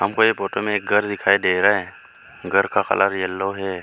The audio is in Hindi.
हमको ये फोटो में घर दिखाई दे रहा है घर का कलर येलो है।